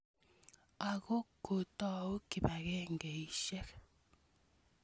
Ako kotou kipakengeisyek